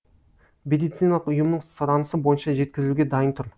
медициналық ұйымның сұранысы бойынша жеткізілуге дайын тұр